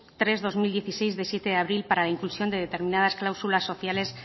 tres barra dos mil dieciséis de siete de abril para la inclusión de determinadas cláusulas sociales